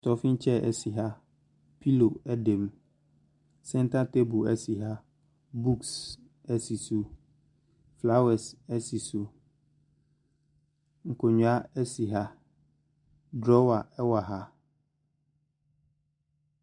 Stoffin chair si ha. Pillow da mu. Center table si ha. Books si so. Flowres si so. Nkonnwa si ha. Drawer wɔ ha.